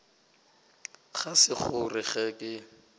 ga se gore ge ke